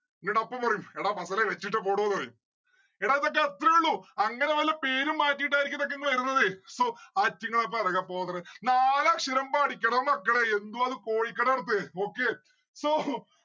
എന്നോട് അപ്പം പറയും എടാ വെച്ചിട്ട് പൊടോന്ന്‌ പറയും. എടാ ഇതൊക്കെ അത്രേ ഇള്ളൂ അങ്ങനെ വല്ല പേരും മാറ്റിയിട്ടായിരിക്കും ഇതൊക്കെ വരുന്നത് so ആയിറ്റിങ്ങളെ പെറകെ പോകാറ് നാലക്ഷരം പടിക്കെടാ മക്കളെ യെന്തു അത് കോഴിക്കട നടത്തേ നോക്കേ so